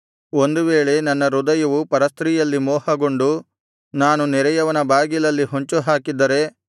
ಒಂದು ವೇಳೆ ನನ್ನ ಹೃದಯವು ಪರಸ್ತ್ರೀಯಲ್ಲಿ ಮೋಹಗೊಂಡು ನಾನು ನೆರೆಯವನ ಬಾಗಿಲಲ್ಲಿ ಹೊಂಚು ಹಾಕಿದ್ದರೆ